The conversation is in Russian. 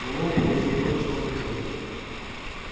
мэллоу получил то чего хотел